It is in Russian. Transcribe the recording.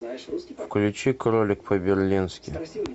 включи кролик по берлински